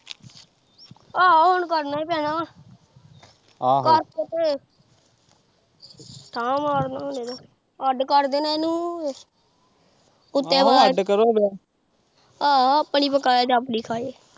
ਆਹੋ ਹੁਣ ਕਰਨਾ ਹੀ ਪੈਣਾ, ਕਰਕੇ ਤੇ ਠਾ ਮਾਰਨਾ ਹੁਣ ਅੱਡ ਕਰ ਦੇਣਾ ਇਹਨੂੰ ਆਹੋ ਆਪਣੀ ਪਕਾਏ ਤੇ ਆਪਣੀ ਖਾਏ।